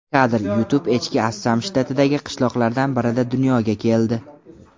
Kadr: YouTube Echki Assam shtatidagi qishloqlardan birida dunyoga keldi.